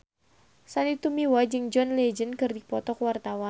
Sandy Tumiwa jeung John Legend keur dipoto ku wartawan